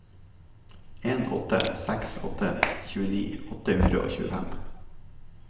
en åtte seks åtte tjueni åtte hundre og tjuefem